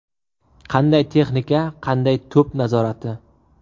Qanday texnika, qanday to‘p nazorati!